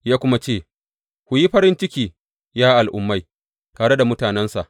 Ya kuma ce, Ku yi farin ciki, ya Al’ummai, tare da mutanensa.